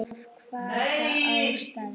Af hvaða ástæðu?